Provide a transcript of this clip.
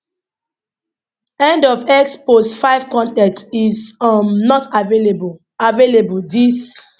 end of x post 5 con ten t is um not available available dis